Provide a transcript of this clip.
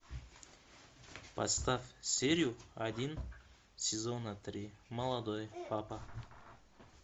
поставь серию один сезона три молодой папа